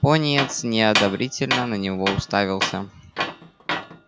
пониетс неодобрительно на него уставился